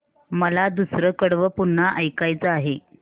मला दुसरं कडवं पुन्हा ऐकायचं आहे